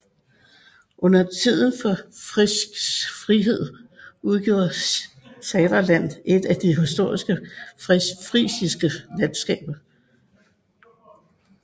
Under tiden for Frisisk Frihed udgjorde Saterland et af de historiske frisiske landskaber